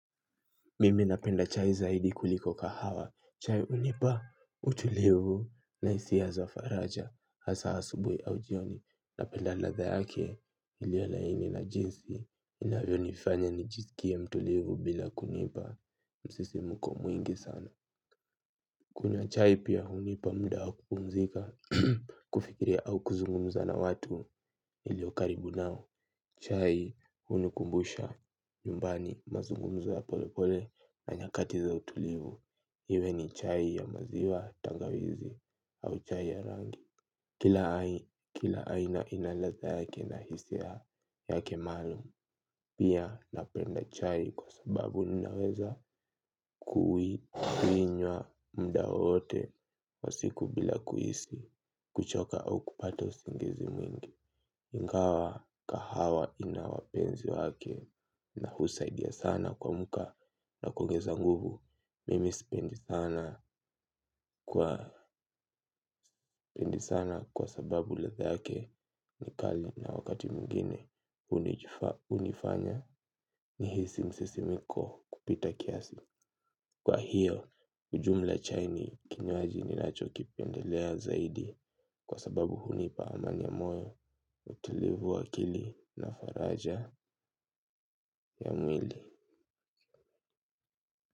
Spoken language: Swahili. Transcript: Mimi napenda chai zaidi kuliko kahawa, chai hunipa utulivu na hisia za faraja, hasa asubuhi au jioni, napenda ladha yake iliyo laini na jinsi inavyonifanya nijisikie mtulivu bila kunipa msisi mko mwingi sana. Kunywa chai pia hunipa muda wa kupumzika, kufikiria au kuzungumza na watu iliyo karibu nao. Chai hunikumbusha, nyumbani mazungumzo ya polepole na nyakati za utulivu. Iwe ni chai ya maziwa tangawizi au chai ya rangi. Kila aina ina ladha yake na hisia yake maalum. Pia napenda chai kwa sababu ninaweza kui, kuinywa, muda wowote, wa siku bila kuhisi, kuchoka au kupata usingizi mwingi. Ingawa kahawa ina wapenzi wake na husaidia sana kuamka na kuongeza nguvu. Mimi spendi sana kwa sababu ladha yake ni kali na wakati mwingine hunifanya nihisi msisimko kupita kiasi. Kwa hiyo, ujumla chai ni kinywaji ninacho kipendelea zaidi. Kwa sababu hunipa amani ya moyo. Utulivu wa akili na faraja ya mwili.